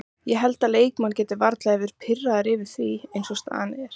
Ég held að leikmenn geti varla verði pirraðir yfir því eins og staðan er.